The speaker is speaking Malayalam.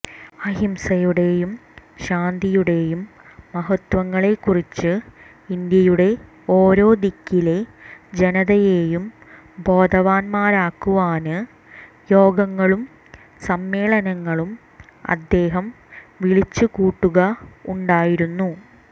അഹിംസയുടേയും ശാന്തിയുടേയും മഹത്വങ്ങളെക്കുറിച്ച് ഇന്ത്യയുടെ ഓരോ ദിക്കിലെ ജനതയേയും ബോധവാന്മാരാക്കുവാന് യോഗങ്ങളും സമ്മേളനങ്ങളും അദ്ദേഹം വിളിച്ചു കൂട്ടുക ഉണ്ടായിരുന്നു